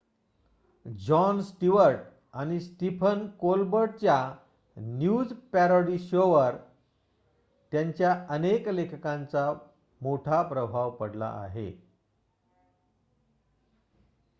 John Stewart आणि Stephen कोलबर्टच्या news parody शोवर त्यांच्या अनेक लेखकांचा मोठा प्रभाव पडला आहे